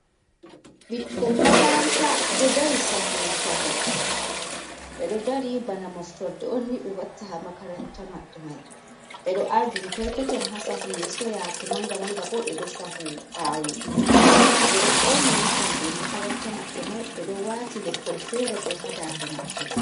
Bikkon makaranta do dari sahu sahu, ɓe do dari bana moftorde onni ɓe watta ha makaranta maɓɓe mai, ɓe do ardini perpeton ha sahu yeso yaki manga manga bo ɓe do sahu ɓawo ɓe do ɓorni inufomje makaranta maɓɓe mai ɓe do wati leppol fere bo hadande maɓɓe.